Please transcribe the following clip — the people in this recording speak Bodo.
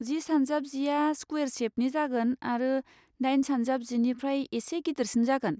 जि सानजाब जिआ स्कुवेर शेपनि जागोन आरो दाइन सानजाब जिनिफ्राय एसे गिदिरसिन जागोन।